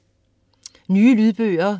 Nye lydbøger